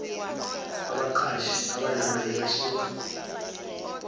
abaqashi abanama learnership